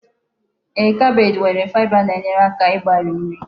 Ee, kabeeji nwere faịba na-enyere aka ịgbari nri